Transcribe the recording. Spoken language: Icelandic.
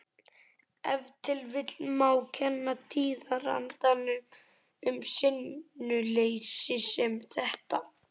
Ef til vill má kenna tíðarandanum um sinnuleysi sem þetta.